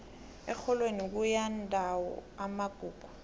erholweni kuyindawo yamagugu